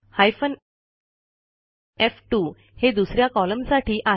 hyphen F two हे दुस या कॉलमसाठी आहे